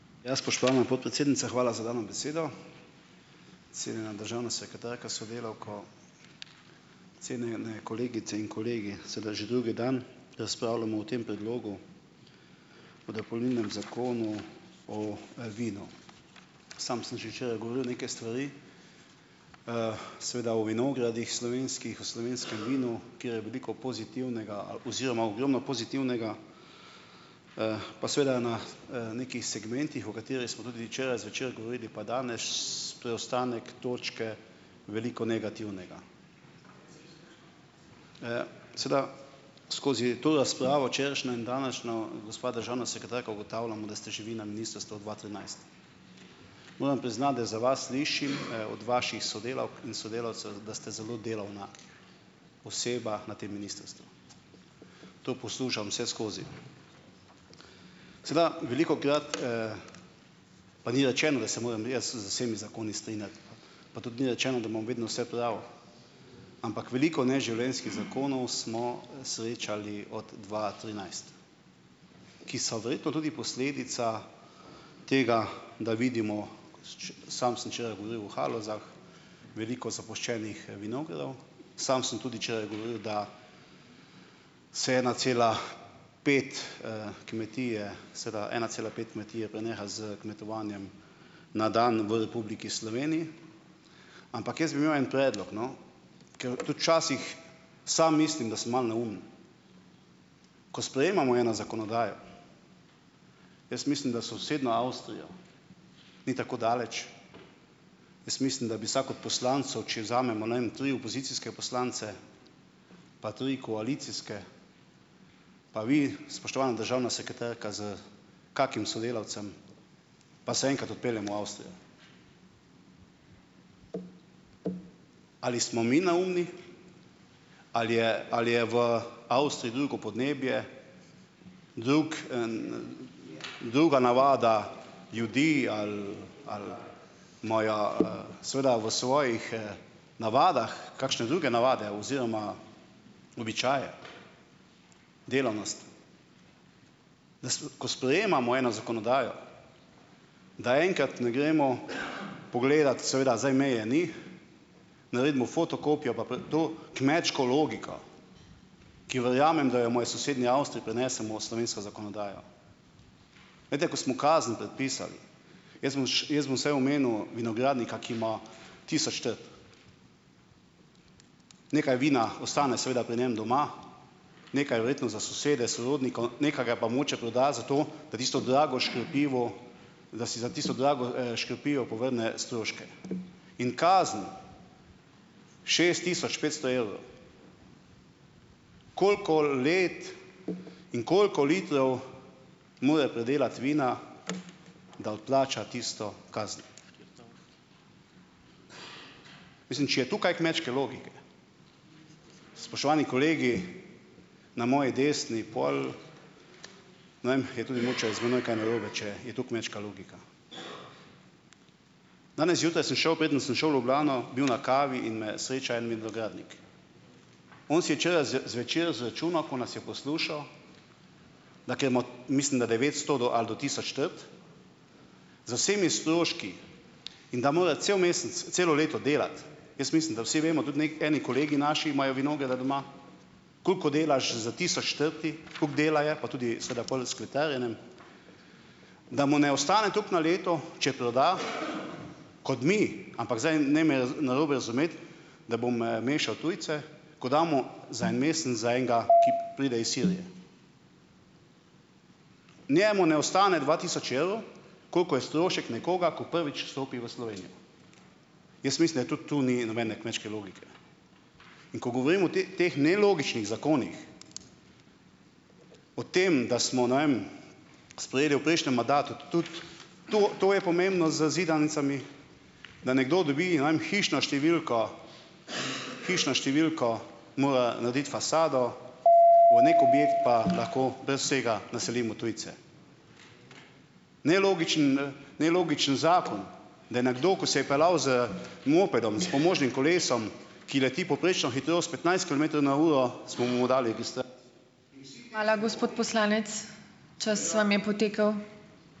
Ja, spoštovana podpredsednica, hvala za dano besedo. Cenjena državna sekretarka s sodelavko, cenjene kolegice in kolegi! Sedaj že drugi dan razpravljamo o tem predlogu, o dopolnilnem Zakonu o, vinu. Sam sem že včeraj govoril neke stvari, seveda o vinogradih slovenskih, o slovenskem vinu kjer je veliko pozitivnega ali oziroma ogromno pozitivnega pa seveda na, nekih segmentih, o katerih smo tudi včeraj zvečer govorili pa danes, to je ostanek točke, veliko negativnega. Sedaj, skozi to razpravo, včerajšnjo in današnjo, gospa državna sekretarka, ugotavljamo, da ste že vi na ministrstvu od dva trinajst. Moram priznati, da za vas slišim, od vaših sodelavk in sodelavcev, da ste zelo delovna oseba na tem ministrstvu. To poslušam vseskozi. Sedaj, velikokrat, pa ni rečeno, da se moram jaz z vsemi zakoni strinjati, pa tudi ni rečeno, da imam vedno vse prav, ampak veliko neživljenjskih zakonov smo, srečali od dva trinajst, ki so verjetno tudi posledica tega, da vidimo, sam sem včeraj govoril o Halozah, veliko zapuščenih vinogradov, samo sem tudi včeraj govoril, da se ena cela pet, kmetije seveda ena cela pet kmetije preneha s kmetovanjem na dan v Republiki Sloveniji. Ampak jaz bi imel en predlog, no, ker tudi včasih sam mislim, da sem malo neumen. Ko sprejemamo eno zakonodajo, jaz mislim, da sosednja Avstrija ni tako daleč, jaz mislim, da bi vsak od poslancev, če vzamemo, ne vem, tri opozicijske poslance pa tri koalicijske, pa vi, spoštovana državna sekretarka s kakim sodelavcem, pa se enkrat odpeljemo v Avstrijo. Ali smo mi neumni ali je ali je v Avstriji drugo podnebje, druk, druga navada ljudi ali ali imajo, seveda v svojih, navadah kakšne druge navade oziroma običaje, delavnost? Da Ko sprejemamo eno zakonodajo, da enkrat ne gremo pogledat, seveda zdaj meje ni, naredimo fotokopijo pa to kmečko logiko, ki verjamem, da jo imajo v sosednji Avstriji, prenesemo v slovensko zakonodajo. Glejte, ko smo kazen predpisali, jaz bom jaz bom saj omenil vinogradnika, ki ima tisoč trt, nekaj vina ostane seveda pri njem doma, nekaj verjetno za sosede, sorodnike, nekaj ga pa mogoče proda zato, da si tisto drago škropivo, da si za tisto drago, škropivo povrne stroške. In kazen šest tisoč petsto evrov. Koliko let in koliko litrov mora pridelati vina, da odplača tisto kazen? Mislim, če je tu kaj kmečke logike, spoštovani kolegi na moji desni, pol, ne vem je mogoče tudi z menoj kaj narobe, če je to kmečka logika. Danes zjutraj sem šel, preden sem šel v Ljubljano, bil na kavi in me sreča en vinogradnik, on si je včeraj zvečer zračunal, ko nas je poslušal, da ker ima mislim, da devetsto do ali do tisoč trt, z vsemi stroški in da more cel mesec, celo leto delati, jaz mislim, da vsi vemo tudi, eni kolegi naši imajo vinograde doma, koliko delaš s tisoč trtami, koliko dela je, pa tudi seveda pol s kletarjenjem, da mu ne ostane tako na leto, če proda, kot mi, ampak zdaj ne me narobe razumeti, da bom, mešal tujce, ko damo za en mesec za enega, ki pride iz Sirije. Njemu ne ostane dva tisoč evrov, kolikor je strošek nekoga, ki prvič vstopi v Slovenijo. Jaz mislim, da tudi tu ni nobene kmečke logike, in ko govorim o teh nelogičnih zakonih, o tem, da smo, ne vem, sprejeli v prejšnjem mandatu tudi, to, to je pomembno z zidanicami, da nekdo dobi, ne vem, hišno številko, hišno številko, mora narediti fasado, v neki objekt pa lahko brez vsega naselimo tujce. Nelogičen, nelogičen zakon, da nekdo, ko se je peljal z mopedom s pomožnim kolesom, ki leti povprečno hitrost petnajst kilometrov na uro, smo mu dali tiste ...